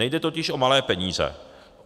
Nejde totiž o malé peníze.